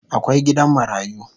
Akwai gidan marayu